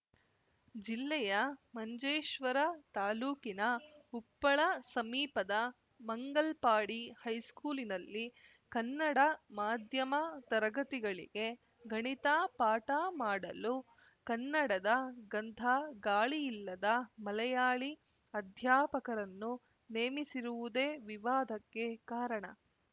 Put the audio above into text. ಜಿಲ್ಲೆಯ ಮಂಜೇಶ್ವರ ತಾಲೂಕಿನ ಉಪ್ಪಳ ಸಮೀಪದ ಮಂಗಲ್ಪಾಡಿ ಹೈಸ್ಕೂಲಿನಲ್ಲಿ ಕನ್ನಡ ಮಾಧ್ಯಮ ತರಗತಿಗಳಿಗೆ ಗಣಿತ ಪಾಠ ಮಾಡಲು ಕನ್ನಡದ ಗಂಧಗಾಳಿಯಿಲ್ಲದ ಮಲಯಾಳಿ ಅಧ್ಯಾಪಕರನ್ನು ನೇಮಿಸಿರುವುದೇ ವಿವಾದಕ್ಕೆ ಕಾರಣ